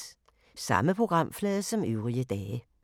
Samme programflade som øvrige dage